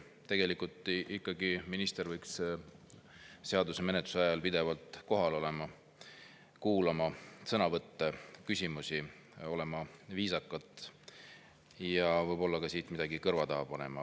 Tegelikult ikkagi minister menetluse ajal pidevalt kohal olema, kuulama sõnavõtte, küsimusi, olema viisakalt ja võib-olla siit ka midagi kõrva taha panema.